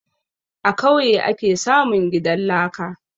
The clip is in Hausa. A kauye ake samun gidan laka